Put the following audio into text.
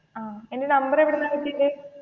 ആഹ് എന്റെ നമ്പർ എവിടുന്നാണ് കിട്ടിയത്?